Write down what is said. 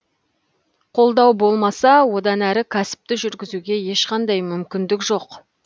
қолдау болмаса одан әрі кәсіпті жүргізуге ешқандай мүмкіндік жоқ